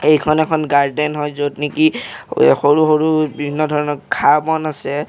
এইখন এখন গাৰ্ডেন হয় য'ত নেকি সৰু সৰু বিভিন্ন ধৰণৰ ঘাঁহ বন আছে।